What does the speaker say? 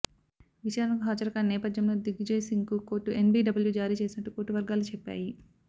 విచారణకు హాజరుకాని నేపథ్యంలో దిగ్విజయ్ సింగ్ కు కోర్టు ఎన్బీడబ్ల్యూ జారీ చేసినట్టు కోర్టువర్గాలు చెప్పాయి